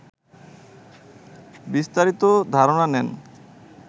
বিস্তারিত ধারণা নেন